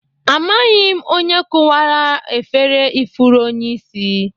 Amaghị m onye kụwara ya efere ifuru onyeisi